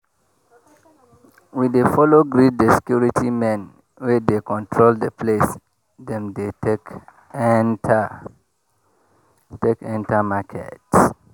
we dey follow greet the security men wey dey control the place dem dey take enter take enter market